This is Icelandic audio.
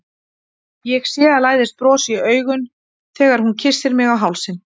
Ég sé að læðist bros í augun þegar hún kyssir mig á hálsinn.